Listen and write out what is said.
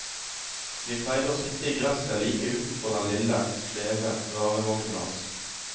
Vi pleide å sitte i gresset like utenfor den lille, skjeve, rare vognen hans.